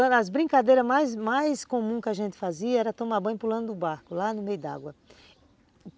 As brincadeiras mais mais comuns que a gente fazia era tomar banho pulando o barco lá no meio d'água.